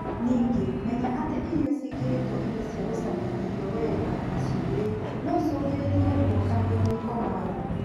Ningĩ, menya atĩ irio ciĩkĩrĩtwo indo cia gũcamia irio wega na cumbi, no icũngĩrĩrie ruo kanua-inĩ komagaru